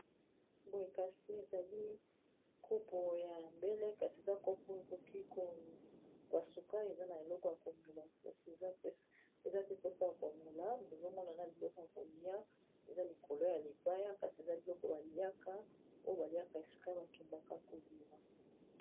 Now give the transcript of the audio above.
Boye kasi ezali kopo ya mbele kasi eza kopo ekoki ko pasuka eza na eloko ya komela kasi eza pe place ya komela tozo mona na biloko ya kolia eza likolo ya libaya kasi eza biloko baliaka oyo baliaka esika ba kendaka kobima.